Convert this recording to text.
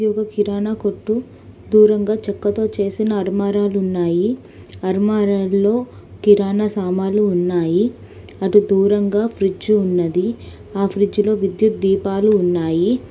ఇది ఒక కిరాణా కొట్టు. దూరంగా చెక్కతో చేసిన ఆర్మారాలు ఉన్నాయి. అర్మారాల్లో కిరాణా సామాన్లు ఉన్నాయి. అటు దూరంగా ఫ్రిడ్జ్ ఉన్నది. ఆ ఫ్రిడ్జ్లో విద్యుత్ దీపాలు ఉన్నాయి.